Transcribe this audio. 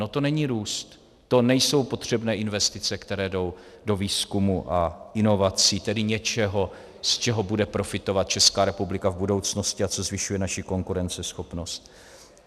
No to není růst, to nejsou potřebné investice, které jdou do výzkumu a inovací, tedy něčeho, z čeho bude profitovat Česká republika v budoucnosti a co zvyšuje naši konkurenceschopnost.